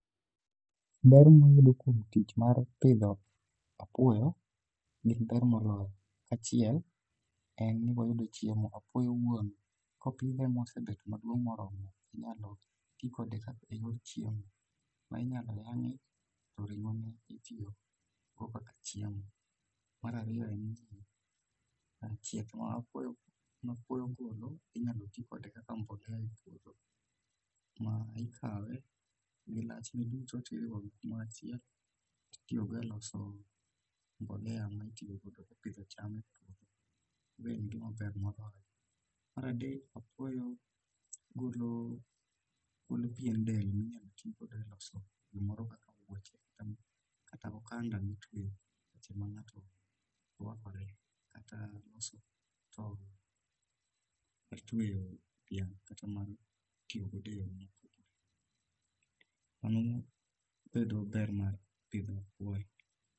Ber mwayudo kuom tich mar pidho apuoyo gin ber moloyo achiel en ni wayudo chiemo. Apuoyo owuon kopidhe mosebet maduong' moromo inyalo ti kode eyor chiemo. Ma inyalo yang'e to ring'ono itiyogo kaka. chiemo. Mar ariyo, chieth ma apuoyo ogolo inyalo ti kode kaka mbolea e puodho. Ikawe gi lachne duto to iriwogi kamoro achiel to itiyo kode eloso mbolea ma itiyo go epidho cham e puodho. Mae en gima ber moloyo. Mar adek, apuoyo golo pien dende inyalo ti go eloso gimoro kaka kata okanda mitweyo seche ma ng'ato wuoche rwakore kata loso tol mar tweyo dhiang'. Mano e ber mar pidho apuoyo.